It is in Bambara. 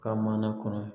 Ka mana kɔnɔ